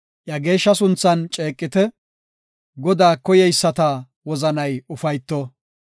Iya geeshsha sunthan ceeqite; Godaa koyeyisata wozanay ufayto.